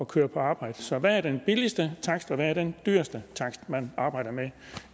køre på arbejde så hvad er den billigste takst og hvad er den dyreste takst man arbejder med